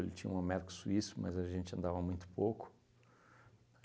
Ele tinha um Américo Suíço, mas a gente andava muito pouco.